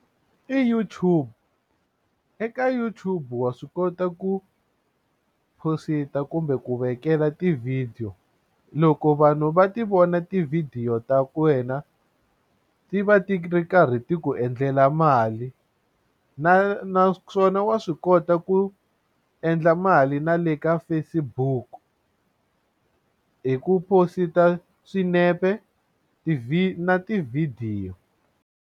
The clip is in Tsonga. I YouTube eka YouTube wa swi kota ku phosita kumbe ku vekela tivhidiyo loko vanhu va ti vona tivhidiyo ta wena ti va ti ri karhi ti ku endlela mali na naswona wa swi kota ku endla mali na le ka Facebook hi ku phosita swinepe na tivhidiyo.